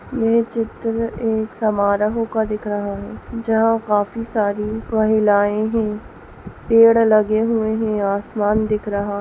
ये चित्र एक समारोह का दिख रहा है जहाँ काफी सारी महिलाएं हैं पेड़ लगे हुए हैं आसमान दिख रहा है।